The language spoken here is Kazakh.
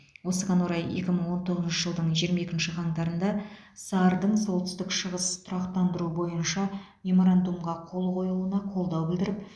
осыған орай екі мың он тоғызыншы жылдың жиырма екінші қаңтарында сар дың солтүстік шығыс тұрақтандыру бойынша меморандумға қол қойылуына қолдау білдіріп